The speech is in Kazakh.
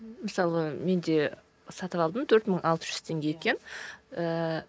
мысалы мен де сатып алдым төрт мың алты жүз теңге екен ііі